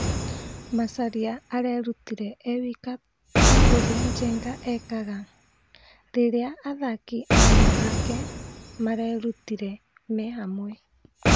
Macharia arerutire e wika ta ũrĩa Njenga ekaga, rĩrĩa athaki aruna ake marerutire me hamwe.